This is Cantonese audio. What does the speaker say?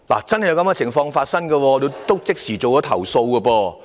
這是千真萬確的事，我已即時投訴。